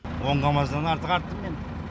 он камаздан артық арттым мен